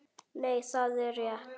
Nei, það er rétt.